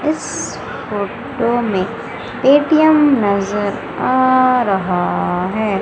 इस फोटो में पेटीएम नजर आ रहा है।